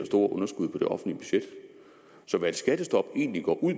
store underskud på det offentlige budget så hvad et skattestop egentlig går ud